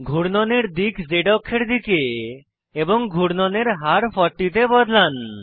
ঘুর্ণনের দিক Z অক্ষের দিকে এবং ঘুর্ণনের হার 40 তে বদলান